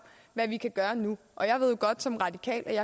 hvad vi kan gøre nu og som radikal ved